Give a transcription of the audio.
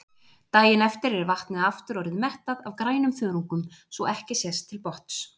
Daginn eftir er vatnið aftur orðið mettað af grænum þörungum svo ekki sést til botns.